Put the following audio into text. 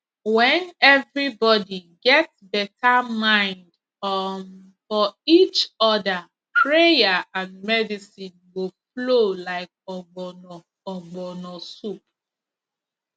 when everybody get better mind um for each other prayer and medicine go flow like ogbono ogbono soup